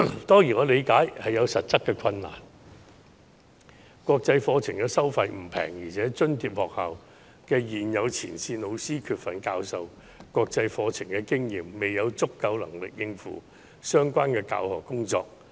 當然，我理解這做法有其實質困難，原因是國際課程的收費不便宜，而且津貼學校現有的前線老師缺乏教授國際課程的經驗，未有足夠能力應付相關的教學工作。